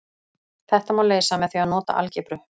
Þetta má leysa með því að nota algebru.